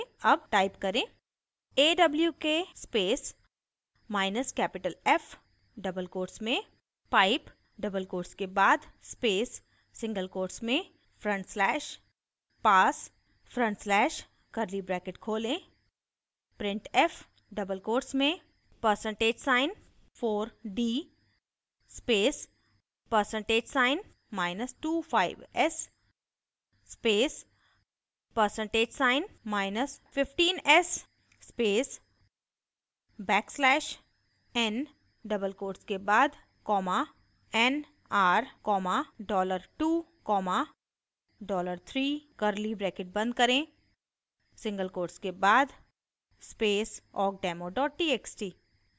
अब type करें